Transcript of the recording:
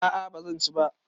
A'a bazan ci ba